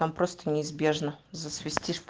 там просто неизбежно засвестишь